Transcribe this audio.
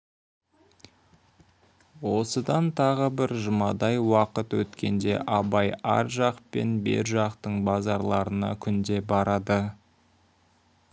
осыдан тағы бір жұмадай уақыт өткенде абай ар жақ пен бер жақтың базарларына күнде барады